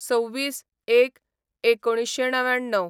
२६/०१/१९९९